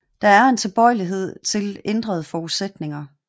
Der er en tilbøjelighed til ændrede forudsætninger